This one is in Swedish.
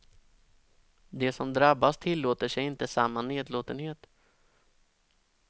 De som drabbas tillåter sig inte samma nedlåtenhet.